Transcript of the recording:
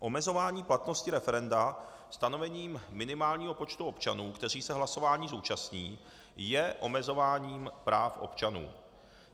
Omezování platnosti referenda stanovením minimálního počtu občanů, kteří se hlasování zúčastní, je omezováním práv občanů.